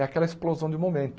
É aquela explosão de momento.